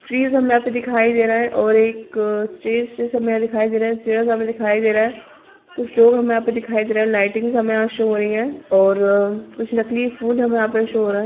Trees हमें यहाँ पे दिखाई दे रहा है और एक स्टेज जैसा हमें यहाँ दिखाई दे रहा है चेयर्स हमें दिखाई दे रहा है कुछ लोग हमें यहाँ पे दिखाई दे रहा हैं लइटिंग्स हमें यहाँ पर शो हो रही हैं और कुछ नकली फूल हमें यहाँ पे शो हो रहा है।